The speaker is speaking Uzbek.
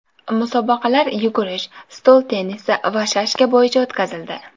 Musobaqalar yugurish, stol tennisi va shashka bo‘yicha o‘tkazildi.